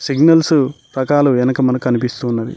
Signals రకాలు వెనుక మనకు అనిపిస్తూ ఉన్నది.